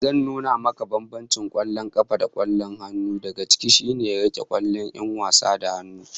Zan nuna maka bambancin kwallon kafa da kwallon hannu, daga ciki shine rike kwallon 'yan wasa da hannu